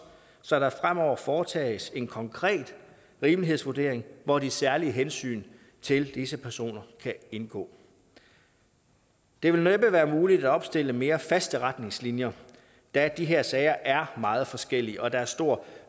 så der fremover foretages en konkret rimelighedsvurdering hvor de særlige hensyn til disse personer kan indgå det vil næppe være muligt at opstille mere faste retningslinjer da de her sager er meget forskellige og der er stor